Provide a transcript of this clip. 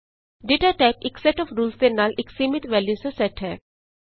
data type ਇਕ set of rules ਦੇ ਨਾਲ ਇਕ ਸੀਮਿਤ ਵੈਲਯੂਸ ਦਾ ਸੈਟ ਹੈ